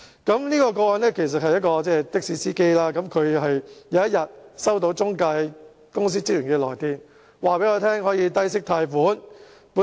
這宗個案的事主是一名的士司機，有一天他收到中介公司職員的來電，告訴他能夠低息貸款。